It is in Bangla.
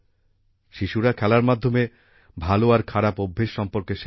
শিশুরা খেলার মাধ্যমে ভালো আর খারাপ অভ্যাস সম্পর্কে শেখে